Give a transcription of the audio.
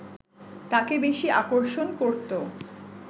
তাকে বেশি আকর্ষণ করতো